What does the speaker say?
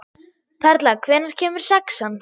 Perla, hvenær kemur sexan?